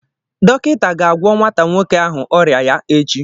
Dọkịta ga-ágwọ̀ nwata nwoke ahụ ọrịa ya echi.